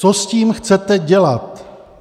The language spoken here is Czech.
Co s tím chcete dělat?